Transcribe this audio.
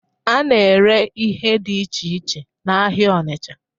A na-ere ihe dị iche iche n'ahịa Ọnịcha.